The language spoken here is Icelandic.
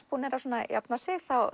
búnir að jafna sig